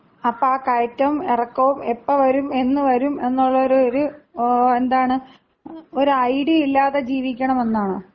അപ്പ ആ കയറ്റവും ഇറക്കവും എപ്പോ വരും, എന്ന് വരും എന്നുള്ള ഒരു എന്താണ് ഒരു ഐഡിയ ഇല്ലാതെ ജീവിക്കണമെന്നാണോ?